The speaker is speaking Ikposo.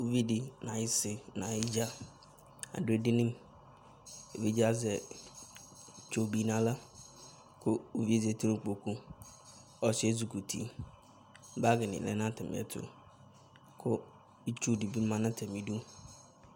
Uvi dɩ nʋ ayisi nʋ ayɩdzǝ adʋ edini Evidze yɛ azɛ itsu bɩ nʋ aɣla, kʋ uvi yɛ zǝti nʋ ikpokʋ Ɔsɩ yɛ ezɩkɔ uti Bagɩ nɩ lɛ nʋ atamɩ ɛtʋ, kʋ itsu dɩ bɩ ma nʋ atamɩ ɩdʋ